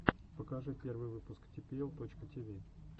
покажи первый выпуск типиэл точка тиви